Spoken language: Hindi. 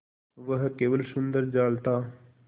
वह केवल सुंदर जाल था